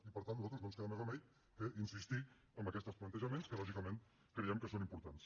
i per tant a nosaltres no ens queda més remei que insistir en aquests plantejaments que lògicament creiem que són importants